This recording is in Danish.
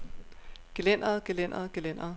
gelænderet gelænderet gelænderet